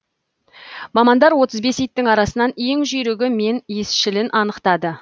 мамандар отыз бес иттің арасынан ең жүйрігі мен иісшілін анықтады